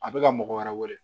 A bɛ ka mɔgɔ wɛrɛ wele